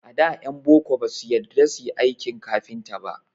A da ƴan boko ba su yarda su yi aikin kafinta.